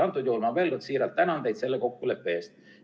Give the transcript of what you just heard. Veel kord siiralt tänan teid selle kokkuleppe eest.